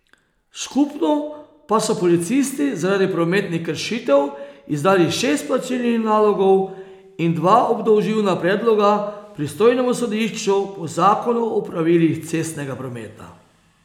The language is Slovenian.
Skupno pa so policisti zaradi prometnih kršitev izdali šest plačilnih nalogov in dva obdolžilna predloga pristojnemu sodišču po zakonu o pravilih cestnega prometa.